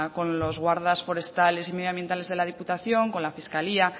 con los guardas forestales y medioambientales de la diputación con las fiscalía